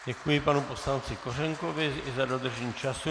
Děkuji panu poslanci Kořenkovi i za dodržení času.